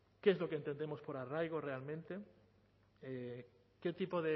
qué es lo que entendemos por arraigo realmente qué tipo